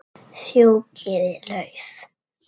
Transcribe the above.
Fjúkiði lauf.